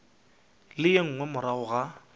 le ye nngwe morago ga